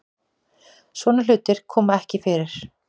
Svona hlutir koma ekki fyrir